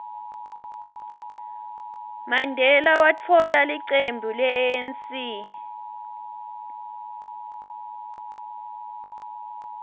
mandela watfola licembu le anc ngo